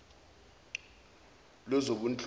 lwezobunhloli